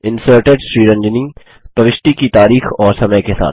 inserted Sriranjani प्रविष्टि की तारीख और समय के साथ